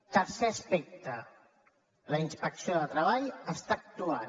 tercer aspecte la inspecció de treball està actuant